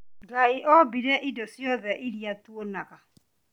Ngai oombire indo ciothe iria tuonaga